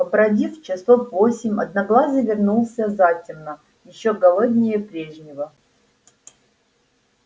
побродив часов восемь одноглазый вернулся затемно ещё голоднее прежнего